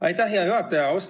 Aitäh, hea juhataja!